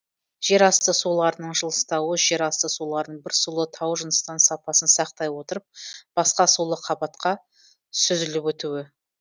жер асты суларының жылыстауы жер асты суларының бір сулы таужыныстан сапасын сақтай отырып басқа сулы қабатқа сүзіліп өтуі